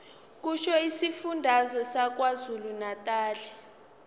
kusho isifundazwe sakwazulunatali